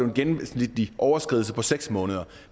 en gennemsnitlig overskridelse på seks måneder